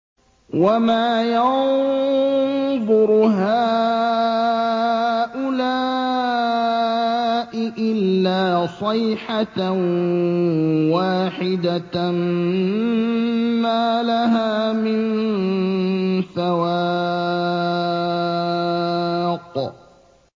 وَمَا يَنظُرُ هَٰؤُلَاءِ إِلَّا صَيْحَةً وَاحِدَةً مَّا لَهَا مِن فَوَاقٍ